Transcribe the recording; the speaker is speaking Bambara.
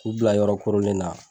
K'u bila yɔrɔ korolen na.